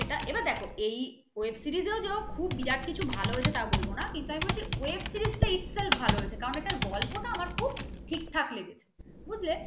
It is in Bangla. সেটা এবার দেখো এই web series যে খুব ভিরাত কিছু হয়েছে তা বলব না কিন্তু আমি বলছি web series তা ইতকাল ভালো হয়েছে এর গল্প টা খুব ঠিক ঠাক লেগেছে বুঝলে,